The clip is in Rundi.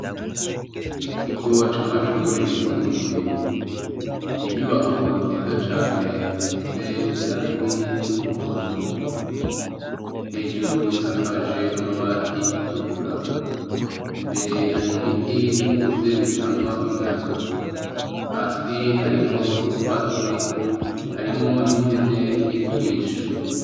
Mu kigo c'amashure yisumbuye. Inyubako nziza cane isize irangi ry' umuhondo, hejuru isakaje amabati atukura. Imbere hari ibiti bikuze bitanga umuyaga. Hasi hariho utwatsi, harimwo n'impene iri kurisha.